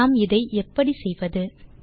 நாம் இதை எப்படி செய்வது